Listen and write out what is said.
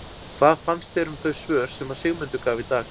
Hvað fannst þér um þau svör sem að Sigmundur gaf í dag?